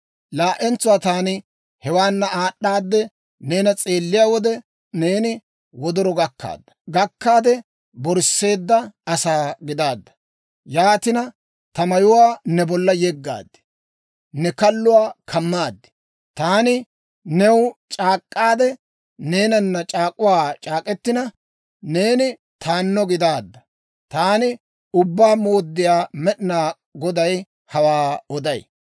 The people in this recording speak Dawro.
«‹ «Laa"entsuwaa taani hewaana aad'aadde, neena s'eelliyaa wode, neeni wodoro gakkaade borsseedda asaa gidaadda. Yaatina, ta mayuwaa ne bolla yeggaade, ne kalluwaa kammaad. Taani new c'aak'k'aade neenana c'aak'uwaa c'aak'k'etina, neeni taanno gidaadda. Taani Ubbaa Mooddiyaa Med'inaa Goday hawaa oday.